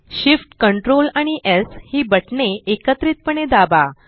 Shift Ctrl आणि स् ही बटणे एकत्रितपणे दाबा